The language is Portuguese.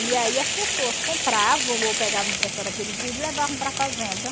E aí as pessoas compravam ou pegavam emprestado aqueles livros e levavam para a fazenda.